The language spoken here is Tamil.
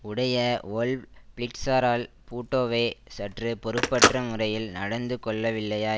உடைய வொல்வ் பிளிட்சரால் பூட்டோவே சற்று பொறுப்பற்ற முறையில் நடந்து கொள்ளவில்லையா